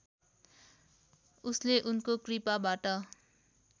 उसले उनको कृपाबाट